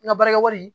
N ka baarakɛwari